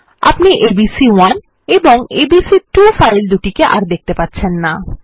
আপনি এবিসি1 এবং ABC two file দুটিকে আর দেখতে পাবেন না